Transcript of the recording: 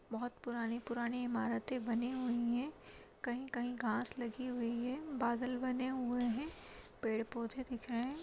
बहोत पुरानी-पुरानी इमारतें बनी हुई है कहीं-कहीं घास लगी हुई है बादल बने हुए है पेड़-पौधे दिख रहे है।